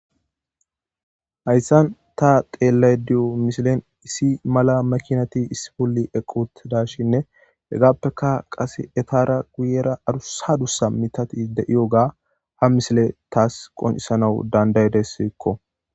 Hayssan ta xeellaydiyo misilen issi mala makinati issiboli equt dashinne hegappeka qase etara guyera arusadussa mitati de'iyo gaa ha misile taas qoncisanawu dandayide siikko.